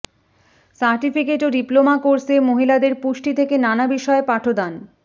certificate ও diploma কোর্সে মহিলাদের পুষ্টি থেকে নানা বিষয়ে পাঠদান